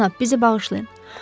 Cənab, bizi bağışlayın.